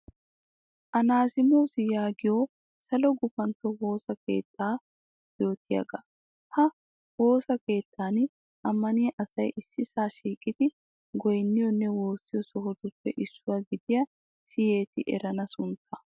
Anasimos yaagiyo salo gufantto woosa keettaa yootiyaaga. Ha woosa keettan ammaniya asay issisaa shiiqidi goyinniyoonne woossiyo sohotuppe issuwa gidiya siyetti erenna suntta.